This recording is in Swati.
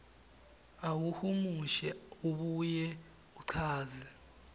ahumushe abuye achaze